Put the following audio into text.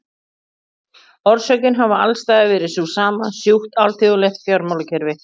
Orsökin hafi alls staðar verið sú sama, sjúkt alþjóðlegt fjármálakerfi.